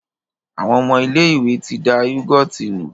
Àwọn ọmọ ilé-ìwé ti da yúgọ́ọ̀tì nù.